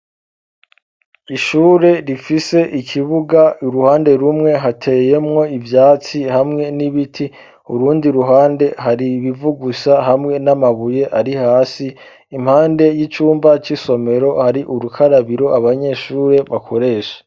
Ishure rifise ikibuga iruhande rumwe hateyemwo ivyatsi hamwe n'ibiti urundi ruhande hari ibivu gusa hamwe n'amabuye ari hasi impande y'icumba c'isomero hari urukarabiro abanyeshure bakoresha